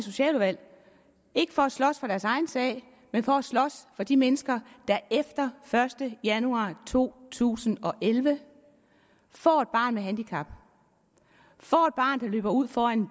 socialudvalg ikke for at slås for deres egen sag men for at slås for de mennesker der efter første januar to tusind og elleve får et barn med handicap får et barn der løber ud foran en